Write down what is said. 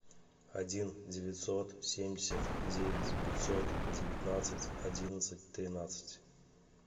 один девятьсот семьдесят девять пятьсот девятнадцать одиннадцать тринадцать